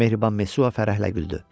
Mehriban Mesua fərəhlə güldü.